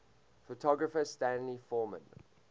photographer stanley forman